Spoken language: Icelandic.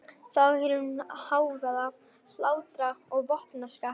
Þá heyrir hún hávaða, hlátra og vopnaskak.